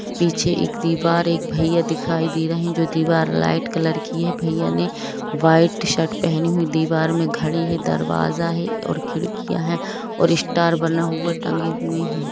पीछे एक दीवार एक भैया दिखाई दे रही जो दीवार लाइट कलर की है भैया ने व्हाइट शर्ट पहनी हुई दीवार में घड़ी है दरवाजा है और खिड़कियां है और स्टार बना हुआ टंगे हुए हैं।